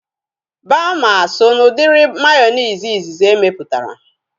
Baama so na udiri mayonezi izizi emeputara